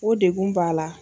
O degun b'a la.